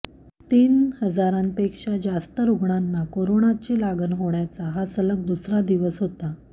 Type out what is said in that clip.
तीन हजारांपेक्षा जास्त रुग्णांना कोरोनाची लागण होण्याचा हा सलग दुसरा दिवस होता